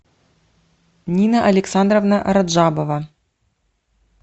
нина александровна раджабова